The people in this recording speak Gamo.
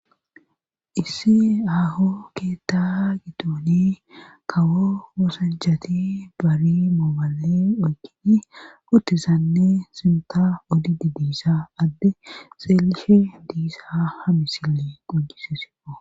Issi aaho keeta giddoni kawo oosanchati bali mooballi oykkidi uttizanne sintta odidi diza adde xeelisha diza ha misiley qoncciisis.